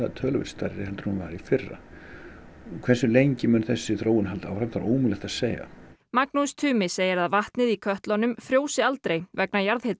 töluvert stærri en hún var í fyrra hversu lengi mun þessi þróun halda áfram það er ómögulegt að segja Magnús Tumi segir að vatnið í kötlunum frjósi aldrei vegna jarðhita